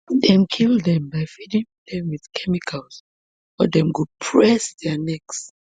dem kill dem by feeding dem wit chemicals or dem go just press dia necks